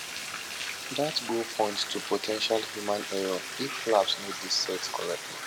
dat go point to po ten tial human error if flaps no dey set correctly